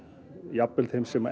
jafnvel þeim sem